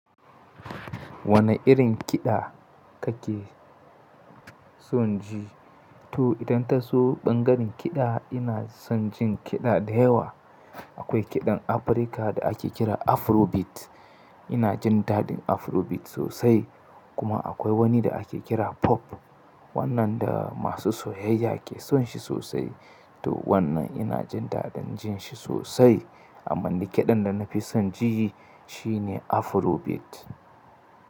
Wane irin kiɗa kake son ji? To idan ta zo ɓangaren kiɗa ina son jin kiɗa da yawa. Akwai kiɗan Afirka da ake kira Afrobeat. Ina jin daɗin Afrobeat sosai. Kuma akwai wani da ake kira Pop. Wannan da masu soyayya ke son shi sosai. To wannan ina jin daɗin jin shi sosai. Amma ni kiɗan da na fi son ji shi ne Afrobeat.